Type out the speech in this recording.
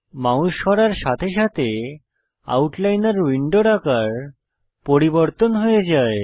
mouse সরার সাথে সাথে আউটলাইনর উইন্ডোর আকার পরিবর্তন হয়ে যায়